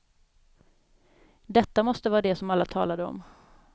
Detta måste vara det som alla talade om.